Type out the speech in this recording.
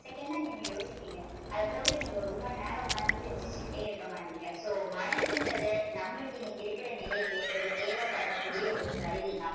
second தான் நீங்க யோசிப்பீங்க அதை போட்டு நீங்க ரொம்ப நேரம் உட்கார்ந்து சிந்திச்சுக்கிட்டே இருக்க மாட்டீங்க. so மனசுன்றது நம்மளுக்கு இன்னைக்கு இருக்கிற நிலைக்கு ஒரு தேவைப்படக்கூடிய ஒரு கருவி தான்.